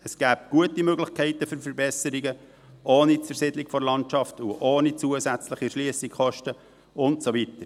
Es gäbe gute Möglichkeiten für Verbesserungen, ohne eine Zersiedelung der Landschaft, ohne zusätzliche Erschliessungskosten und so weiter.